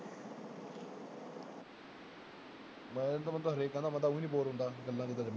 ਮੈਨੂੰ ਤਾਂ ਬੰਦਾ ਹਰੇਕ ਕਹਿੰਦਾ ਮੈਂ ਤਾਂ ਊਈ ਨੀ bore ਹੁੰਦਾ ਗੱਲਾਂ